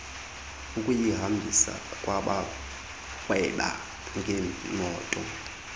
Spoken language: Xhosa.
ukuyihambisa kwabarhweba ngeemoto